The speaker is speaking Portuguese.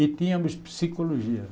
E tínhamos psicologia.